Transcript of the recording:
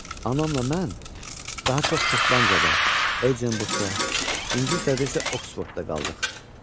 Anamla mən daha çox Şotlandiyada, Edinburqda, İngiltərədə isə Oksfordda qaldıq.